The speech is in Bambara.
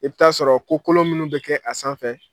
I bɛ taa sɔrɔ ko kolon minnu bɛ kɛ a sanfɛ